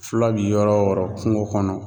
Fula bɛ yɔrɔ o yɔrɔ, kungo kɔnɔ